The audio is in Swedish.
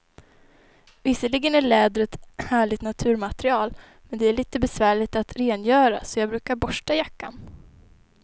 Visserligen är läder ett härligt naturmaterial, men det är lite besvärligt att rengöra, så jag brukar borsta jackan.